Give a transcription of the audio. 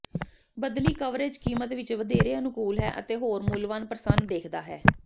ਬਦਲੀ ਕਵਰੇਜ ਕੀਮਤ ਵਿਚ ਵਧੇਰੇ ਅਨੁਕੂਲ ਹੈ ਅਤੇ ਹੋਰ ਮੁਲਵਾਨ ਪ੍ਰਸੰਨ ਵੇਖਦਾ ਹੈ